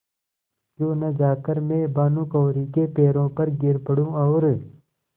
क्यों न जाकर मैं भानुकुँवरि के पैरों पर गिर पड़ूँ और